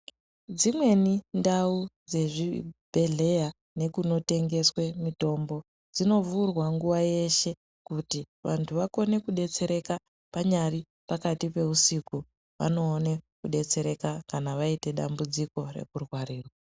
Dzimweni ndau dzezvibhedhlera nekunotengeswe mutombo, dzinovhurwa nguva yeshe kuti vantu vakone kudetsereka panyari pakati peusiku vanoone kudetsereka kana vaite dambudziko rekurwarirwa.